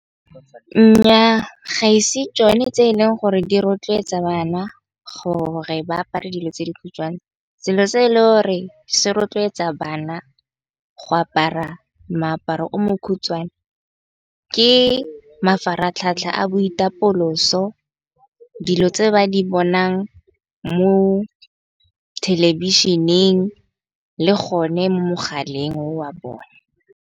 Nnyaa, ga ise tšone tse eleng gore di rotloetsa bana gore ba apare dilo tse dikhutshwane. Selo se e le gore se rotloetsa bana go apara moaparo o mokhutswane ke mafaratlhatlha a boitapoloso, dilo tse ba di bonang mo thelebišeneng le gone mo mogaleng wa bone.